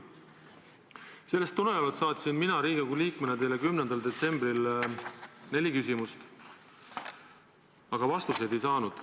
Sellest tulenevalt saatsin mina Riigikogu liikmena teile 10. detsembril neli küsimust, aga vastuseid ei saanud.